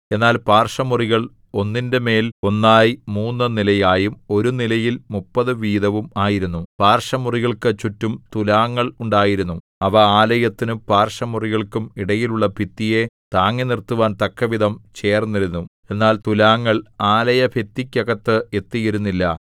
എന്നാൽ പാർശ്വമുറികൾ ഒന്നിന്റെ മേൽ ഒന്നായി മൂന്നു നിലയായും ഒരു നിലയിൽ മുപ്പതു വീതവും ആയിരുന്നു പാർശ്വമുറികൾക്കു ചുറ്റും തുലാങ്ങൾ ഉണ്ടായിരുന്നു അവ ആലയത്തിനും പാർശ്വമുറികൾക്കും ഇടയിലുള്ള ഭിത്തിയെ താങ്ങിനിർത്തുവാൻ തക്കവിധം ചേർന്നിരുന്നു എന്നാൽ തുലാങ്ങൾ ആലയഭിത്തിക്കകത്ത് എത്തിയിരുന്നില്ല